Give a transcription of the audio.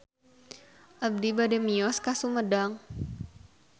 Abi bade mios ka Sumedang